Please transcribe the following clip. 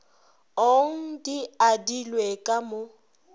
ong di adilwe ka mo